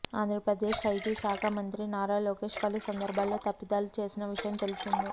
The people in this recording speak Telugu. ఆంధ్రప్రదేశ్ ఐటి శాఖామంత్రి నారాలోకేష్ పలు సందర్భాల్లో తప్పిదాలు చేసిన విషయం తెలిసిందే